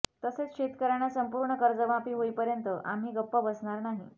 तसेच शेतकऱयांना संपूर्ण कर्जमाफी होईपर्यंत आम्ही गप्प बसणार नाही